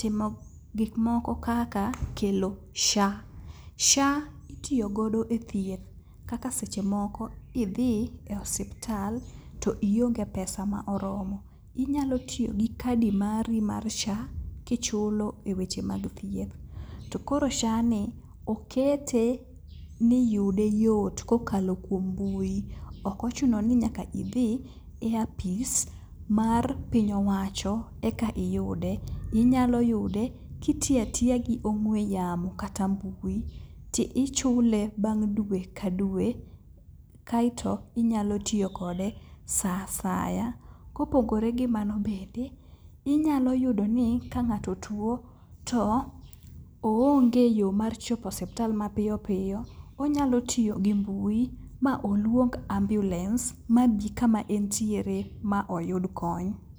timo gikmoko kaka kelo sha. Sha itiyogodo e thieth kaka seche moko idhi e osiptal to ionge pesa ma oromo, inyalo tiyo gi kadi mari mar sha kichulo e weche mag thieth. To koro sha ni okete ni yude yot kokalo kuom mbui, okochuno ni nyaka idhi e apis mar piny owacho eka iyude, inyalo yude kiti atiya gi ong'we yamo kata mbui ti ichule bang' dwe ka dwe kaito inyalo tiyo kode sa asaya. Kopogore gi mano bende inyalo yudo ni ka ng'ato two to onge yo mar chopo osiptal mapiyopiyo, onyalo tiyo gi mbui ma oluong ambiulens ma bi kama entiere ma oyud kony.